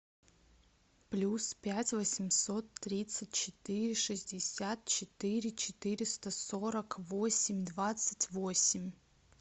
плюс пять восемьсот тридцать четыре шестьдесят четыре четыреста сорок восемь двадцать восемь